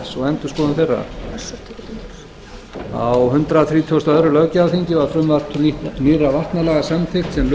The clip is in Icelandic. endurskoðun þeirra á hundrað þrítugasta og öðrum löggjafarþingi var frumvarp til nýrra vatnalaga samþykkt sem lög frá alþingi